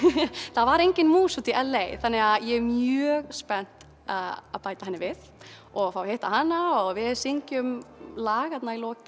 það var engin mús úti í þannig að ég er mjög spennt að bæta henni við og fá að hitta hana við syngjum lag þarna í lokin